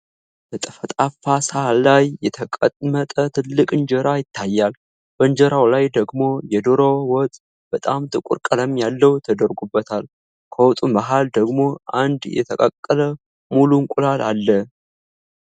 በጠፍጣፋ ሳህን ላይ የተቀመጠ ትልቅ እንጀራ ይታያል። በእንጀራው ላይ ደግሞ የዶሮ ወጥ (በጣም ጥቁር ቀለም ያለው) ተደርጎበታል። ከወጡ መሃል ደግሞ አንድ የተቀቀለ ሙሉ እንቁላል አለ።